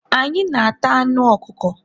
anyị na-ata anụ ọkụkọ.